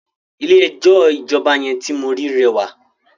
Ilé ẹjọ́ ìjọba yẹn ti mo ri rẹwà.